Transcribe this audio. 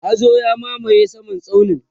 hazo ya mamaye saman tsaunin